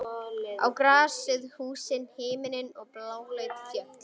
Á grasið, húsin, himininn og bláleit fjöll.